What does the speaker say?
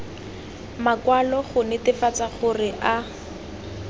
makwalo go netefatsa gore a